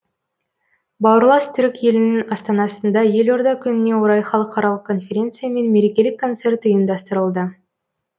бауырлас түрік елінің астанасында елорда күніне орай халықаралық конференция мен мерекелік концерт ұйымдастырылды